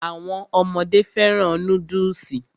Àwọn ọmọdé fẹ́ràn núdùsì